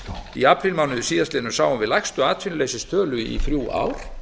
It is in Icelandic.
í aprílmánuði síðastliðnum sáum við lægstu atvinnuleysistölu í þrjú ár